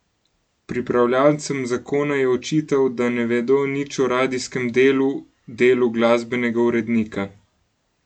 Pripravljavcem zakona je očital, da ne vedo nič o radijskem delu, delu glasbenega urednika.